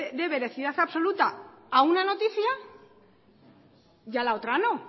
dé veracidad absoluta a una noticia y a la otra no